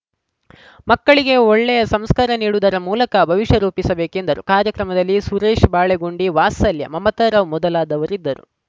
ಮಕ್ಕಳಿಗೆ ಒಳ್ಳೆಯ ಸಂಸ್ಕಾರ ನೀಡುವುದರ ಮೂಲಕ ಭವಿಷ್ಯ ರೂಪಿಸಬೇಕೆಂದರು ಕಾರ್ಯಕ್ರಮದಲ್ಲಿ ಸುರೇಶ್‌ ಬಾಳೆಗುಂಡಿ ವಾತ್ಸಲ್ಯ ಮಮತಾರಾವ್‌ ಮೊದಲಾದವರಿದ್ದರು